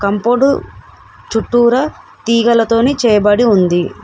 Compound చుట్టురా తీగలతోని చేయబడి ఉంది.